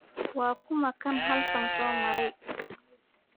Waa kuma kan halkan soo maray?